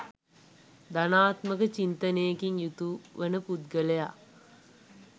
ධනාත්මක චින්තනයකින් යුතු වන පුද්ගලයා